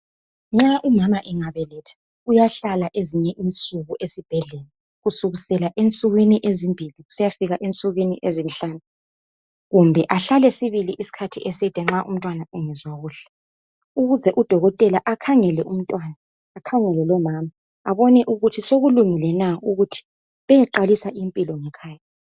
Nxa umama emgabeletha uyahlala ezinye insuku esibhendlela kusukisela ensukwini ezimbili kusiyafika ensukwini ezinhlanu kumbe ahlale sibili isikhathi eside nxa umntwana engezwa kuhle ukuze udokotela akhangele umntwana akhangele lomama abone ukuthi sokulungile na ukuthi beyeqalisa impilo ngekhaya.